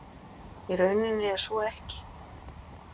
Í rauninni er svo ekki